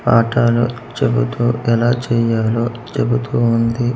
పాఠాలు చెబుతూ ఎలా చెయ్యాలో చెబుతూ ఉంది.